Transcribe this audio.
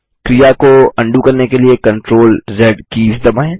क्रिया को अंडू करने के लिए CTRLZ कीज़ दबाएँ